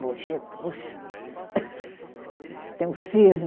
tem o cisne.